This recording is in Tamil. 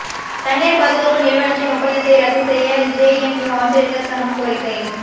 தனியாா் பாதுகாப்பு நிறுவனத்தின் ஒப்பந்தத்தை ரத்துச் செய்ய ஜேஎன்யு ஆசிரியா்கள் சங்கம் கோரிக்கை